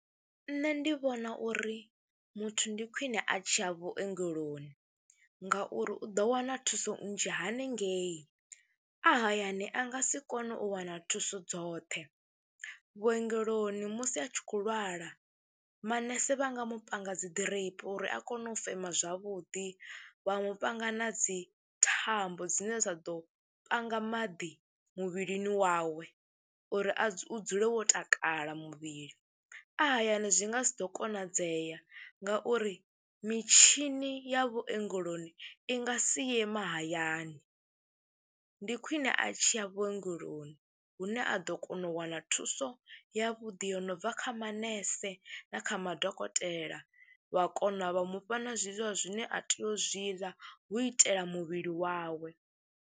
Nṋe ndi vhona uri muthu ndi khwine a tshi ya vhuongeloni ngauri u ḓo wana thuso nnzhi haningei, a hayani a nga si kone u wana thuso dzoṱhe. Vhuongeloni musi a tshi kho lwala manese vha nga mu panga dzi ḓiripi uri a kone u fema zwavhuḓi, vha mu panga na dzi thambo dzine dza ḓo panga maḓi muvhilini wawe uri a dzule, u dzuke wo takala muvhili. A hayani zwi nga si ḓo konadzea ngauri mitshini ya vhuongeloni i nga si ye mahayani, ndi khwine a tshi ya vhuongeloni hune a ḓo kona u wana thuso yavhuḓi yo no bva kha manese na kha madokotela wa kona vha mu fha na zwiḽiwa zwine a tea u zwi ḽa hu itela muvhili wawe.